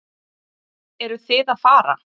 Eruð þið að fara?